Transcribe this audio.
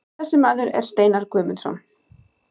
Þessi maður er Steinar Guðmundsson.